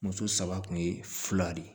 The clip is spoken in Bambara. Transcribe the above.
Muso saba kun ye fila de ye